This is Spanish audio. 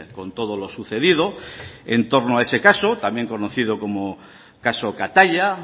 con todo lo sucedido en torno a ese caso también conocido como caso kataia